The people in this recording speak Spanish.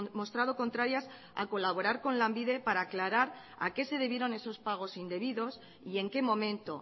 mostrado contrarias a colaborar con lanbide para aclarar a qué se debieron esos pagos indebidos y en qué momento